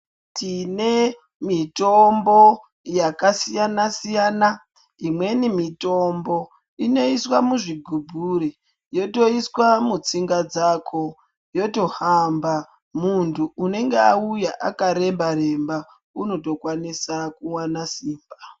Tine mitombo yakasiyana siyana imweni mitombo inoiswa muzvigubhuri yotoiswa mutsinga dzako yotohamba muntu unenge awuya akaremba remba unotokwanisa kuwana simba.